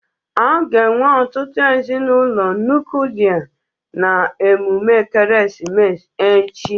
A ga-enwe ọtụtụ ezinụlọ nuklia na emume ekeresimesi echi